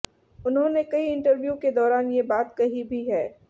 उन्होंने कई इंटरव्यू के दौरान ये बात कही भी है